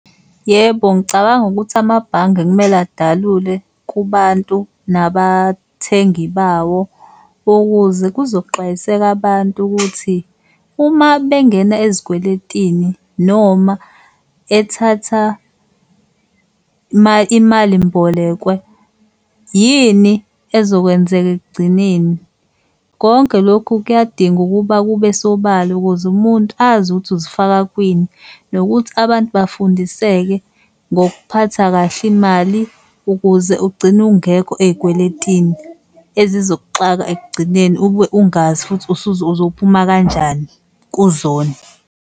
Yebo, ngicabanga ukuthi amabhange kumele adalule kubantu nabathengi bawo ukuze kuzoxwayiseka abantu ukuthi uma bengena ezikweletini noma ethatha imalimbolekwe, yini ezokwenzeka ekugcineni. Konke lokhu kuyadinga ukuba kube sobala ukuze umuntu azi ukuthi uzifaka kwini. Nokuthi abantu bafundiseke ngokuphatha kahle imali ukuze ugcine ungekho ey'kweletini ezizokuxaka ekugcineni ube ungazi futhi uzophuma kanjani kuzona.